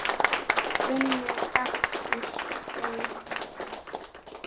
Vinnu! gall í Steina.